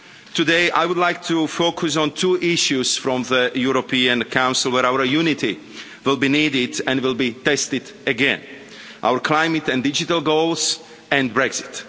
Today, I would like to focus on two issues from the European Council where our unity will be needed and will be tested again our climate and digital goals, and Brexit.